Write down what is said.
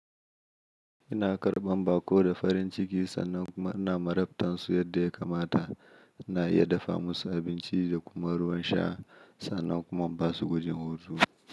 Ina karɓan baƙo da farin ciki sannan kuma ina marabtan su yadda ya kamata. Ina iya dafa musu abinci da kuma ruwan sha sannan kuma ba su gwajin hutu.